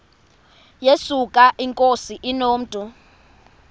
yesuka inkosi inomntu